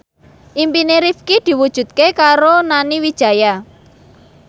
impine Rifqi diwujudke karo Nani Wijaya